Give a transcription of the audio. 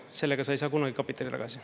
Sellega sa ei saa kunagi kapitali tagasi.